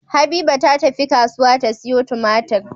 Habiba ta tafi kasuwa ta siyo tumatir